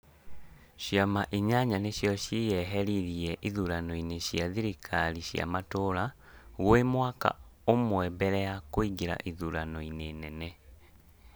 Ciama inyanya nĩcio ciyehiririe ithurano-inĩ cia thikari cia matura, gwĩ mwaka ũmwe mbere ya kuingira ithurano-inĩ nene